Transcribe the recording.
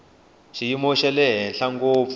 xiyimo xa le henhla ngopfu